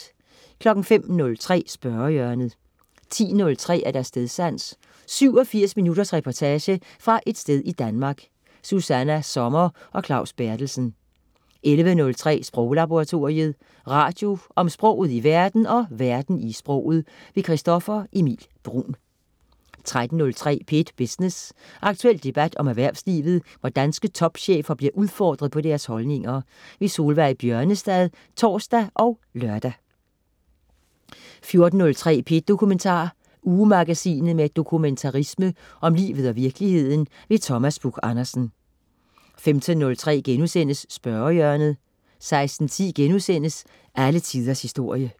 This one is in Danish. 05.03 Spørgehjørnet 10.03 Stedsans. 87 minutters reportage fra et sted i Danmark. Susanna Sommer og Claus Berthelsen 11.03 Sproglaboratoriet. Radio om sproget i verden og verden i sproget. Christoffer Emil Bruun 13.03 P1 Business. Aktuel debat om erhvervslivet, hvor danske topchefer bliver udfordret på deres holdninger. Solveig Bjørnestad (tors og lør) 14.03 P1 Dokumentar. Ugemagasinet med dokumentarisme om livet og virkeligheden. Thomas Buch-Andersen 15.03 Spørgehjørnet* 16.10 Alle Tiders Historie*